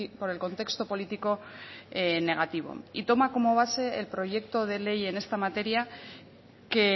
por el contexto político negativo y toma como base el proyecto de ley en esta materia que